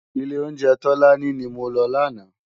Ilé óunjè Tolani ni mó lò làná